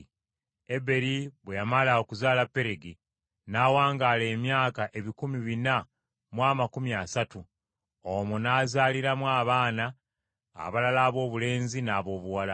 Eberi bwe yamala okuzaala Peregi n’awangaala emyaka ebikumi bina mu amakumi asatu, omwo n’azaaliramu abaana abalala aboobulenzi n’aboobuwala.